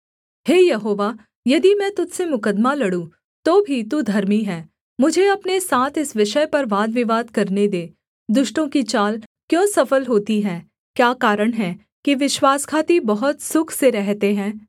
हे यहोवा यदि मैं तुझ से मुकद्दमा लड़ूँ तो भी तू धर्मी है मुझे अपने साथ इस विषय पर वादविवाद करने दे दुष्टों की चाल क्यों सफल होती है क्या कारण है कि विश्वासघाती बहुत सुख से रहते हैं